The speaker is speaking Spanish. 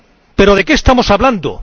¿Pero de qué estamos hablando?